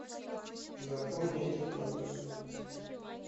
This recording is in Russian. запомни этот номер